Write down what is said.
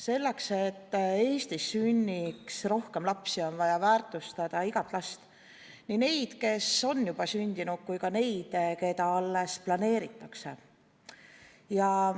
Selleks, et Eestis sünniks rohkem lapsi, on vaja väärtustada igat last, nii neid, kes on juba sündinud, kui ka neid, keda alles planeeritakse.